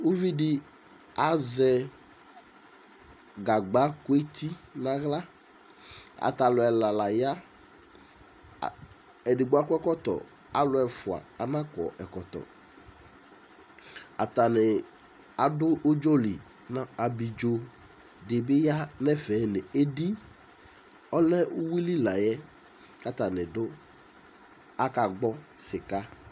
uvidi azɛ gagba ku eti nu aɣla atalu ɛla laya edigbo akɔ ɛkɔtɔ aluɛfʊa nakɔ ɛkɔtɔ atani adu udzɔli abidzo dʊ atami ɛtu edi bi ya nu atamiɛtu adu ɔfʊli la yɛ akagbɔ sika